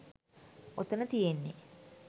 ඔතන තියෙන්නෙ